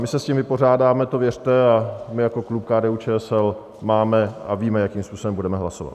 My se s tím vypořádáme, to věřte, a my jako klub KDU-ČSL máme a víme, jakým způsobem budeme hlasovat.